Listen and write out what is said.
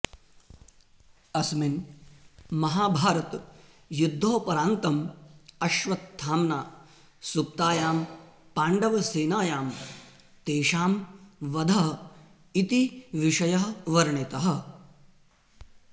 अस्मिन् महाभारतयुद्धोपरान्तं अश्वत्थाम्ना सु्प्तायां पाण्डवसेनायां तेषां वधः इति विषयः वर्णितः